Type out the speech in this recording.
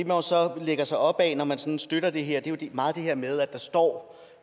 jo så lægger sig op bag når man sådan støtter det her er jo meget det her med at der står